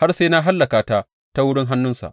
har sai na hallaka ta ta wurin hannunsa.